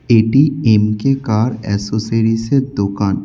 এটি M K car অ্যাসোসেরিজের দোকান।